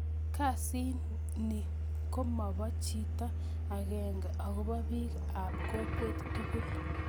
kasit ni komopo chito akenge akopo pik ap kokwet tukul